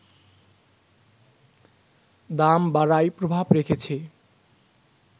দাম বাড়ায় প্রভাব রেখেছে